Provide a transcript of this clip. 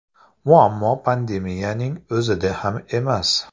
Muammo pandemiyaning o‘zida ham emas.